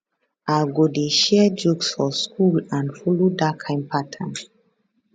i go dey share jokes for school and follow dat kain pattern